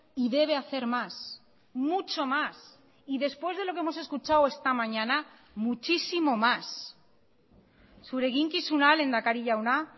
y debe hacer más mucho más y después de lo que hemos escuchado esta mañana muchísimo más zure eginkizuna lehendakari jauna